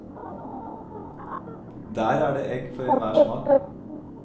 Der er det egg for enhver smak.